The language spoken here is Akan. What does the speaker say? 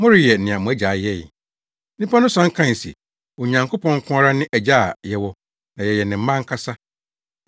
Moreyɛ nea mo agya yɛe.” Nnipa no san kae se, “Onyankopɔn nko ara ne Agya a yɛwɔ na yɛyɛ ne mma ankasa.”